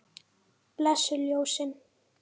Blessuð ljósin.